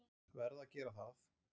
Verð að gera það.